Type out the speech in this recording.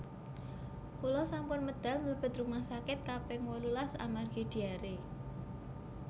Kula sampun medal mlebet rumah sakit kaping wolulas amargi diare